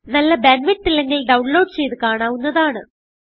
നല്ല bandwidth ഇല്ലെങ്കിൽ download ചെയ്ത് കാണാവുന്നതാണ്